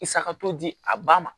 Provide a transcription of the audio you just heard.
I sakato di a ba ma